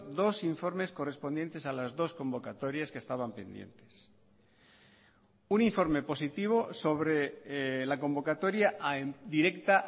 dos informes correspondientes a las dos convocatorias que estaban pendientes un informe positivo sobre la convocatoria directa